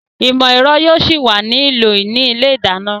Ìmọ̀ ẹ̀rọ yóò ṣì wà ní ìlò ní ilé ìdáná